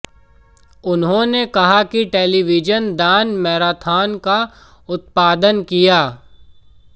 उन्होंने कहा कि टेलीविजन दान मैराथन का उत्पादन किया